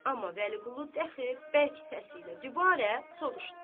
Amma Vəliqulu dəxi bərk səsi ilə dübarə soruşdu.